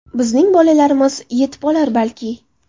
Bizning bolalarimiz yetib olar balki.